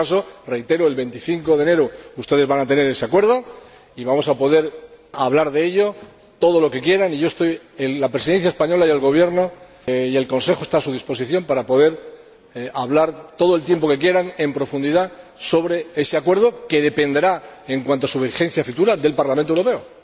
En todo caso, reitero, el 25 de enero ustedes van a tener ese acuerdo y vamos a poder hablar de ello todo lo que quieran. La Presidencia española y el Gobierno, y el Consejo, están a su disposición para poder hablar todo el tiempo que quieran, en profundidad, sobre ese acuerdo, que dependerá, en cuanto a su vigencia futura, del Parlamento Europeo.